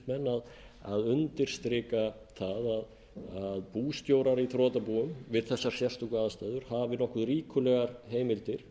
flutningsmenn að undirstrika það að bústjórar í þrotabúum við þessar sérstöku aðstæður hafi nokkuð ríkulegar heimildir